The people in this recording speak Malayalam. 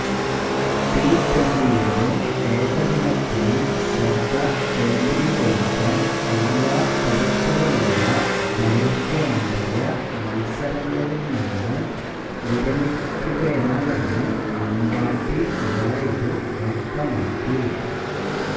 ടിട്വന്റിയിലും ഏകദിനത്തിലും ശ്രദ്ധ കേന്ദ്രീകരിക്കാന് എല്ലാ തരത്തിലുമുള്ള ദൈര്ഘ്യമേറിയ മത്സരങ്ങളില് നിന്ന് വിരമിക്കുകയാണെന്ന് അമ്പാട്ടി റായിഡു വ്യക്തമാക്കി